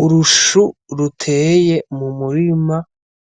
Urushu ruteye mu murima